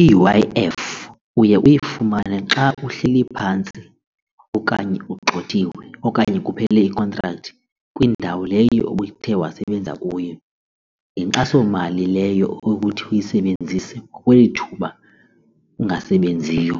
I-U_I_F uye uyifumane xa uhleli phantsi okanye ugxothiwe okanye kuphele ikhontrakthi kwiindawo leyo obuthe wasebenza kuyo. Yinkxasomali leyo yokuthi uyisebenzise kweli thuba ungasebenziyo,